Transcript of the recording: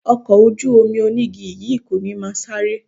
Ọkọ̀ ojú-omi onígi yìí kò ní máa sáré